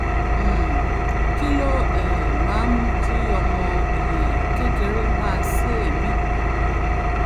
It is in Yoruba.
um kí ló um máa ń mú kí ọmọ um kékeré máa sé èémí?